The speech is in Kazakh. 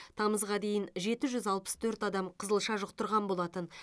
тамызға дейін жеті жүз алпыс төрт адам қызылша жұқтырған болатын